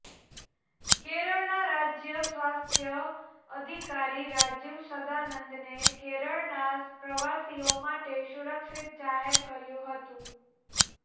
કેરળના રાજય સ્વાસ્થ્ય અધિકારી રાજીવ સદાનંદને કેરળના પ્રવાસીઓ માટે સુરક્ષિત જાહેર કર્યું હતું